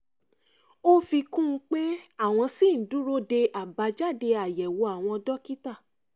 ó fi kún un pé àwọn ṣì ń dúró de àbájáde àyẹ̀wò àwọn dókítà